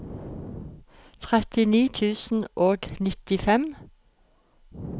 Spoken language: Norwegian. trettini tusen og nittifem